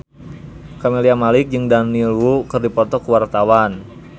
Camelia Malik jeung Daniel Wu keur dipoto ku wartawan